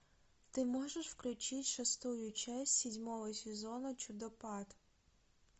ты можешь включить шестую часть седьмого сезона чудопад